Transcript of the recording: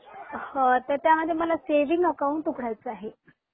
त्यामध्ये मला saving account उघडायचे आहे